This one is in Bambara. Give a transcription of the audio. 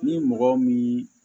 Ni mɔgɔ min